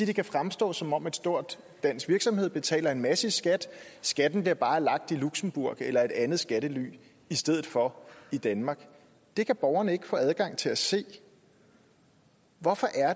det kan fremstå som om en stor dansk virksomhed betaler en masse i skat skatten bliver bare lagt i luxembourg eller et andet skattely i stedet for i danmark det kan borgerne ikke får adgang til at se hvorfor er